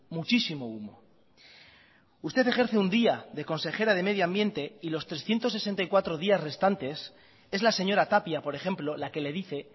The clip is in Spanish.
muchísimo humo usted ejerce un día de consejera de medio ambiente y los trescientos sesenta y cuatro días restantes es la señora tapia por ejemplo la que le dice